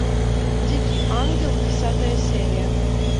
дикий ангел десятая серия